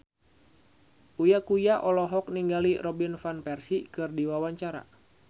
Uya Kuya olohok ningali Robin Van Persie keur diwawancara